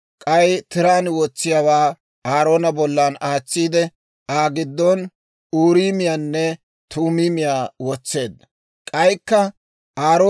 K'ay tiraan wotsiyaawaa Aaroona bollan aatsiide, Aa giddon Uuriimiyaanne Tuumiimiyaa wotseedda. Uuriimiyaanne Tuumiimiyaa